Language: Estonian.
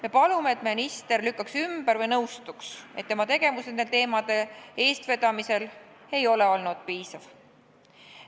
" Me palume, et minister lükkaks ümber või nõustuks, et tema tegevus nende teemade eestvedamisel ei ole olnud piisav.